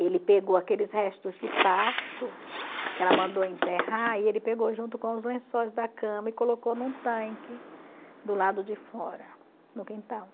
Ele pegou aqueles restos de parto que ela mandou enterrar e ele pegou junto com os lençóis da cama e colocou num tanque do lado de fora, no quintal.